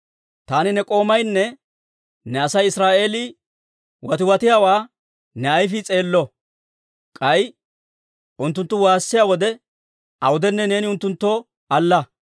«Taani ne k'oomaynne ne Asay Israa'eelii watiwatiyaawaa ne ayfii s'eello; k'ay unttunttu waassiyaa wode awudenne neeni unttunttoo alla.